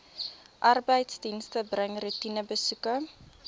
arbeidsdienste bring roetinebesoeke